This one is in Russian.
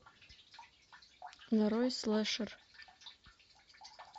нарой слэшер